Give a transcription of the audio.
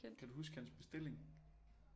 Kan du huske hans bestilling